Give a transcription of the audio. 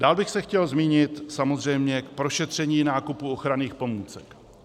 Dále bych se chtěl zmínit samozřejmě k prošetření nákupu ochranných pomůcek.